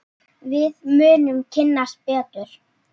Við munum kynnast betur.